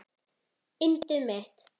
Yndið mitt!